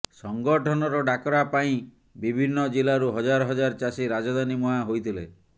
ସଂଗଠନର ଡାକରା ପାଇଁ ବିଭିନ୍ନ ଜିଲ୍ଲାରୁ ହଜାର ହଜାର ଚାଷୀ ରାଜଧାନୀ ମୁହାଁ ହୋଇଥିଲେ